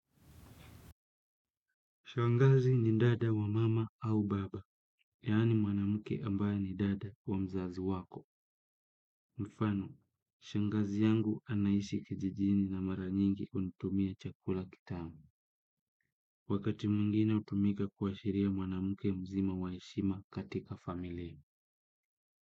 Shangazi ni dada wa mama au baba yaani mwanamke ambaye ni dada wa mzazi wako. Mfano, shangazi yangu anaishi kijijini na mara nyingi hunitumia chakula kitamu. Wakati mwingine hutumika kuashiria mwanamke mzima wa heshima katika familii.